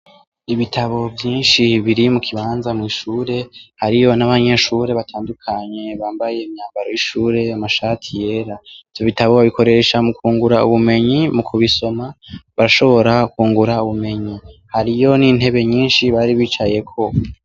Ibitabo vyinshi biri mukibanza mw’ishure hariyo n’abanyeshure batandukanye bambaye imyambaro y’ishure, amashati yera, ivyo bitabo babikoresha mukwungura ubwenge , mukubisoma barashobora kwungura ubumenyi. Hariyo n’intebe nyinshi Bari bicayeko.